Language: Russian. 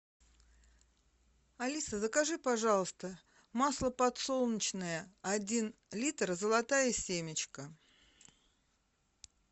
алиса закажи пожалуйста масло подсолнечное один литр золотая семечка